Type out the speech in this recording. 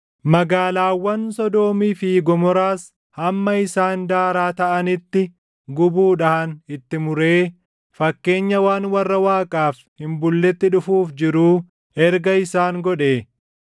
magaalaawwan Sodoomii fi Gomoraas hamma isaan daaraa taʼanitti gubuudhaan itti muree, fakkeenya waan warra Waaqaaf hin bulletti dhufuuf jiruu erga isaan godhee,